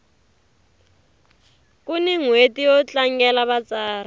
kuni nhweti yo tlangela vatsari